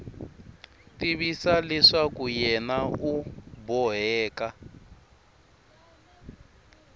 tivisa leswaku yena u boheka